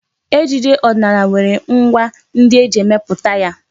Ejije ọdịnala nwere ngwá ndị eji emepụta ya..